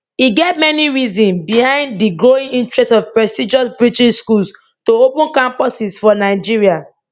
e get many reasons behind di growing interest of prestigious british schools to open campuses for nigeria